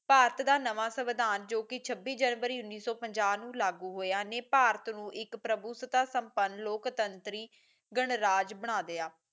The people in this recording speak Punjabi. ਭਾਰਤ ਦਾ ਨਵਾਂ ਸਵਦਾਨ ਜੋ ਕਿ ਛੱਬੀ ਜਨਵਰੀ ਉੱਣੀ ਸੋ ਪੰਜਾਹ ਵਿਚ ਲਾਗੂ ਹੋਇਆ ਨੇ ਭਾਰਤ ਨੂੰ ਇਕ ਪ੍ਰਭੂਸੱਤਾ ਸੰਪਨ ਲੋਕਤੰਤਰੀ ਗਣਰਾਜ ਬਣਾ ਲਿਆ